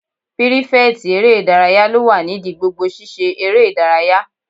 Pírífẹ̀tì eré ìdárayá ló wà nídi gbogbo sisé eré ìdárayá